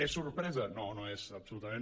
és sorpresa no no és absolutament